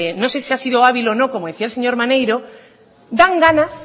no sé si ha sido hábil o no como decía el señor maneiro dan ganas